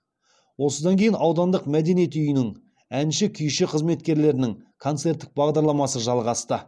осыдан кейін аудандық мәдениет үйінің әнші күйші қызметкерлерінің концерттік бағдарламасы жалғасты